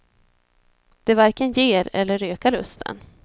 Det varken ger, eller ökar lusten.